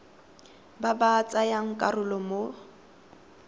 ba ba tsayang karolo mo